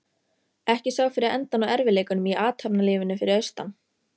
Ekki sá fyrir endann á erfiðleikunum í athafnalífinu fyrir austan.